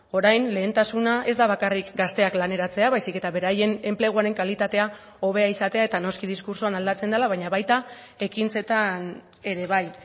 orain lehentasuna ez da bakarrik gazteak laneratzea baizik eta beraien enpleguaren kalitatea hobea izatea eta noski diskurtsoan aldatzen dela baina baita ekintzetan ere bai